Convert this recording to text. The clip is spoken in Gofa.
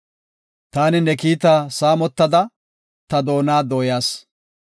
Taani ne kiitaa saamotada, ta doona dooyas.